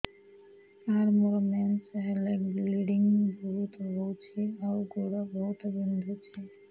ସାର ମୋର ମେନ୍ସେସ ହେଲେ ବ୍ଲିଡ଼ିଙ୍ଗ ବହୁତ ହଉଚି ଆଉ ଗୋଡ ବହୁତ ବିନ୍ଧୁଚି